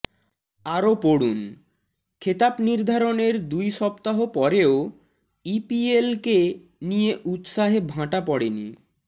আরও পড়ুনঃখেতাব নির্ধারণের দুই সপ্তাহ পরেও ইপিএল কে নিয়ে উৎসাহে ভাঁটা পড়েনি